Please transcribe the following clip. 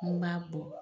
N'i m'a bɔ